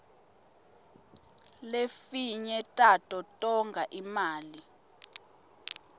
lefinye tato tonga imali